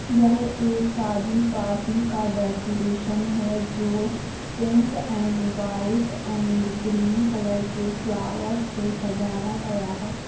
या एक शादी पार्टी का डेकोरेशन है जो pink and white and green colour के फ्लावर से सजाया गया है।